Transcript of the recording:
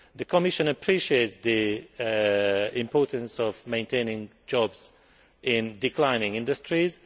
The Commission appreciates the importance of maintaining jobs in declining industries.